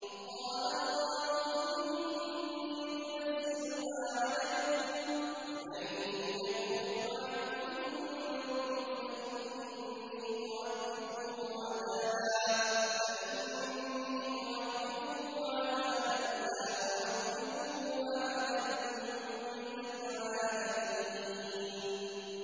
قَالَ اللَّهُ إِنِّي مُنَزِّلُهَا عَلَيْكُمْ ۖ فَمَن يَكْفُرْ بَعْدُ مِنكُمْ فَإِنِّي أُعَذِّبُهُ عَذَابًا لَّا أُعَذِّبُهُ أَحَدًا مِّنَ الْعَالَمِينَ